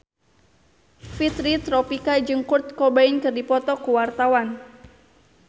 Fitri Tropika jeung Kurt Cobain keur dipoto ku wartawan